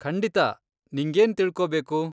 ಖಂಡಿತಾ, ನಿಂಗೇನ್ ತಿಳ್ಕೋಬೇಕು?